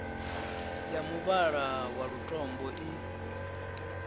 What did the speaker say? ya muvhala wa lutombo i